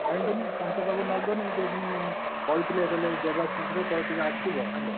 କାଇଁ କହନି ତାଙ୍କ ପାଖକୁ ନଗଲେ ସେ ପୁଣି କହିଥିଲେ କହିଲେ ଦେବାଶିଷର ତୋର ଟିକେ ଆସିବ hello ।